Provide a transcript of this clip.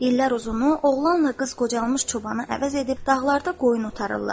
İllər uzunu oğlanla qız qocalmış çobanı əvəz edib dağlarda qoyun otarırlar.